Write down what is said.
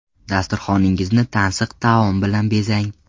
Dasturxoningizni tansiq taom bilan bezang!